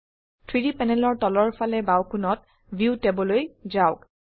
3ডি প্যানেলৰ তলৰ ফালে বাও কোণত ভিউ tab লৈ যাওক